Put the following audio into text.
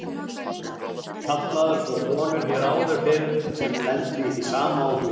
Kallaðar svo konur hér áður fyrr sem lentu í því sama og hún.